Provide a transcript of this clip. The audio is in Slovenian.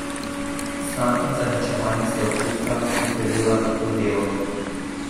Sram in zaničevanje sta občutka, ki prevevata to delo.